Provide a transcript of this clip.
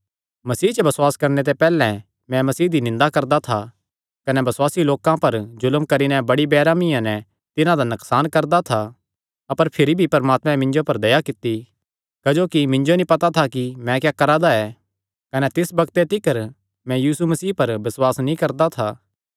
मसीह च बसुआस करणे ते पैहल्लैं मैं मसीह दी निंदा करदा था कने बसुआसी लोकां पर जुल्म करी नैं बड़ी बेरैहमिया नैं तिन्हां दा नकसान करदा था अपर भिरी भी परमात्मे मिन्जो पर दया कित्ती क्जोकि मिन्जो नीं पता था कि मैं क्या करा दा ऐ कने तिस बग्ते तिकर मैं यीशु मसीह पर बसुआस नीं करदा था